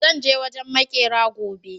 zan je wajen maƙera gobe